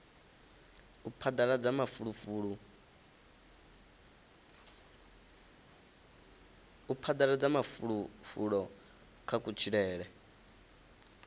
u phadaladza mafulufulo kha kutshilele